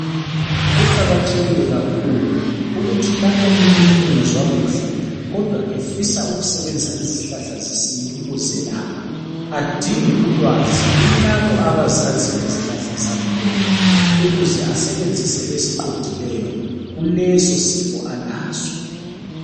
Kuqakathekile kakhulu ukuthi lapho umuntu engezwa kuhle kodwa efisa ukusebenzisa izihlahla zesintu ukuzelapha adinge ulwazi kulabo abazaziziyo izihlahla zangkhona ukuze asebenzise esiqondileyo kulesosifo alaso.